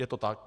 Je to tak.